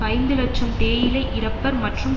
ஐந்து இலட்சம் தேயிலை இறப்பர் மற்றும்